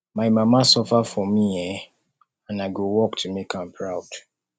my mama suffer for me um and i go work to make am proud